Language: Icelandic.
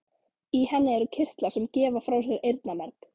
Í henni eru kirtlar sem gefa frá sér eyrnamerg.